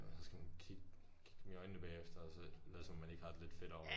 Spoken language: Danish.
Og så skal man kig kigge dem i øjnene bagefter og så lade som om man ikke har det lidt fedt over det